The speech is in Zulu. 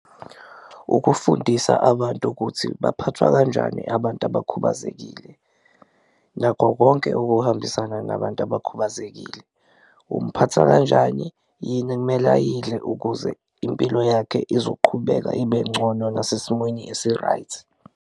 Ukufundisa abantu ukuthi baphathwa kanjani abantu abakhubazekile nako konke okuhambisana nabantu abakhubazekile, umphatha kanjani, yini ekumele ayidle ukuze impilo yakhe izoqhubeka ibe ncono nasesimweni esi-right.